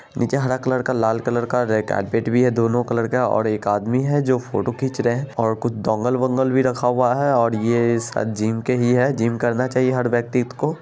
नीचे हरा कलर का लाल कलर का रेड कारपेट भी हैं दोनों कलर का और एक आदमी हैं जो फोटो खींच रहे हैं और कुछ डोंगल वॉन्गल भी रखा हुआ हैं और ये शायद जिम के ही हैं और जिम करना चाहिए हर व्यक्ति को।